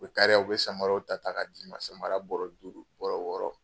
U kariya u bɛ samaraw ta ta ka d'i ma samara bɔrɛ duuru bɔrɛ wɔɔrɔ